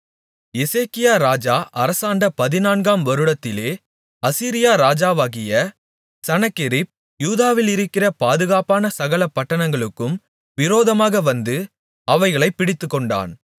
எசேக்கியா ராஜா அரசாண்ட பதினான்காம் வருடத்திலே அசீரியா ராஜாவாகிய சனகெரிப் யூதாவிலிருக்கிற பாதுகாப்பான சகல பட்டணங்களுக்கும் விரோதமாக வந்து அவைகளைப் பிடித்துக்கொண்டான்